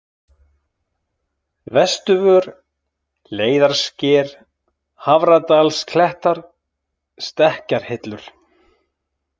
Vesturvör, Leiðarsker, Hafradalsklettar, Stekkjarhillur